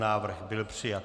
Návrh byl přijat.